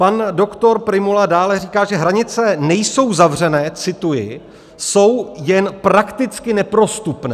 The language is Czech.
Pan doktor Prymula dále říká, že hranice nejsou zavřené - cituji - jsou jen prakticky neprostupné.